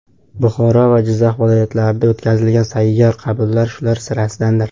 Buxoro va Jizzax viloyatlarida o‘tkazilgan sayyor qabullar shular sirasidandir.